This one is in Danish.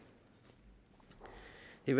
vil